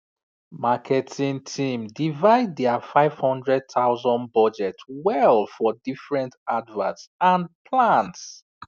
marketing team divide their 500000 budget well for different adverts and plans